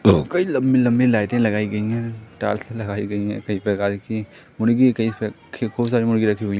कई लंबी लंबी लाइटे लगाई गई हैं टाल्से लगाई गई हैं कई प्रकार की मुर्गी बहुत सारी मुर्गी रखी हुई--